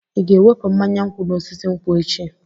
Ị ga-ewepụ mmanya nkwụ n'osisi nkwu echi?